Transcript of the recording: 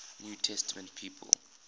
new testament people